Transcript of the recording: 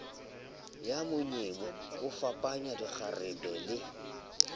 ya monyemo yafapanyang dikgarebe le